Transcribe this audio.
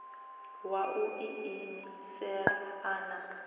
wa u iimisela a na